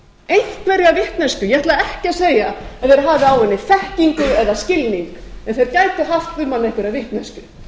einhverja vitneskju ég ætla ekki að segja að þeir hafi á henni þekkingu eða skilning en þeir gætu haft um hann einhverja vitneskju